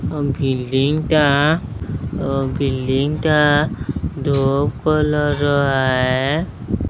ବିଲ୍ଡିଙ୍ଗଟା ବିଲ୍ଡିଙ୍ଗଟା ଧୋବ୍ କଲରର ଆୟେ।